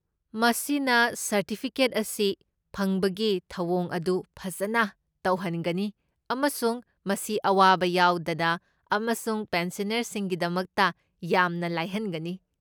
ꯃꯁꯤꯅ ꯁꯔꯇꯤꯐꯤꯀꯦꯠ ꯑꯁꯤ ꯐꯪꯕꯒꯤ ꯊꯧꯑꯣꯡ ꯑꯗꯨ ꯐꯖꯅ ꯇꯧꯍꯟꯒꯅꯤ ꯑꯃꯁꯨꯡ ꯃꯁꯤ ꯑꯋꯥꯕ ꯌꯥꯎꯗꯅ ꯑꯃꯁꯨꯡ ꯄꯦꯟꯁꯅꯔꯁꯤꯡꯒꯤꯗꯃꯛꯇ ꯌꯥꯝꯅ ꯂꯥꯏꯍꯟꯒꯅꯤ꯫